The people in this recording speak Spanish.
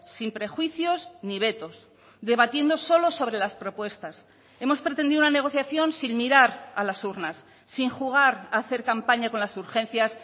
sin prejuicios ni vetos debatiendo solo sobre las propuestas hemos pretendido una negociación sin mirar a las urnas sin jugar a hacer campaña con las urgencias